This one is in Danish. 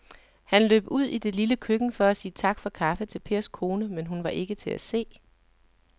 Han løb ud i det lille køkken for at sige tak for kaffe til Pers kone, men hun var ikke til at se.